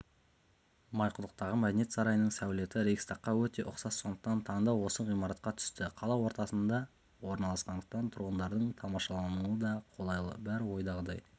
майқұдықтағы мәдениет сарайының сәулеті рейхстагқа өте ұқсас сондықтан таңдау осы ғимаратқа түсті қала ортасында орналасқандықтан тұрғындардың тамашалауына да қолайлы бәрі ойдағыдай